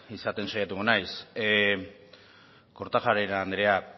izaten saiatuko naiz kortajarena anderea